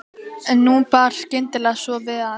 En nú bar skyndilega svo við að